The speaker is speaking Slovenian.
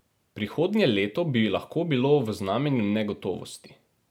Prihodnje leto bi lahko bilo v znamenju negotovosti.